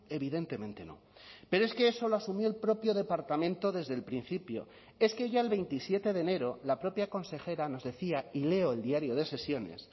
evidentemente no pero es que eso lo asumió el propio departamento desde el principio es que ya el veintisiete de enero la propia consejera nos decía y leo el diario de sesiones